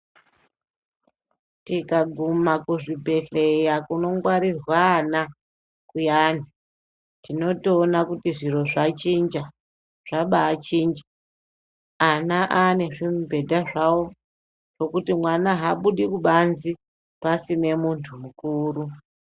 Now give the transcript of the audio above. Tikaguma kuzvibhedhleya kunogwarirwa ana kuyani tinotoona kuti zviro zvachinja zvabachinja. Ana ane zvimubhedha zvavo zvokuti mwana habudi kubanzi asine muntu mukuru.